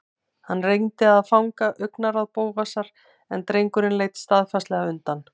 Hann reyndi að fanga augnaráð Bóasar en drengurinn leit staðfastlega undan.